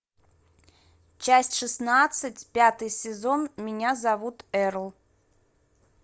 часть шестнадцать пятый сезон меня зовут эрл